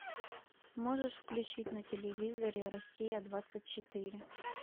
можешь включить на телевизоре россия двадцать четыре